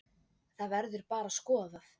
Það verður bara skoðað.